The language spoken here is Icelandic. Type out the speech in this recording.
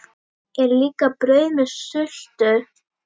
Er líka brauð með sultu?